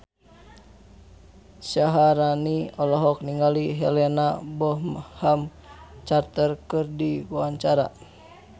Syaharani olohok ningali Helena Bonham Carter keur diwawancara